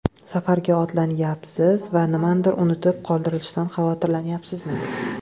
Safarga otlanyapsiz va nimanidir unutib qoldirishdan xavotirlanyapsizmi?